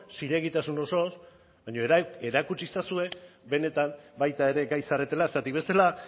zilegitasun osoz baina erakutsi ezazue benetan baita ere gai zaretela zergatik bestela